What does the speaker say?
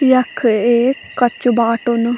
यख एक कच्चू बाटू न।